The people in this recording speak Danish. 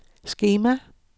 skema